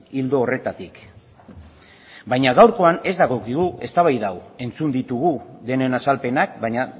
ildo horretatik baina gaurkoan ez dagokigu eztabaida hau entzun ditugu denen azalpenak baina